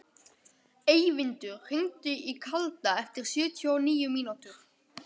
Eyvindur, hringdu í Kalda eftir sjötíu og níu mínútur.